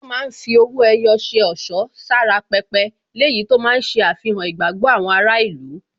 Wọ́n máa ń fi owó ẹyọ ṣe ẹ̀ṣọ́ sára pẹpẹ, léyìí tó máa ń ṣe àfihàn ìgbàgbọ́ àwọn ará ìlú.